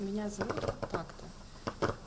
меня зовут так-то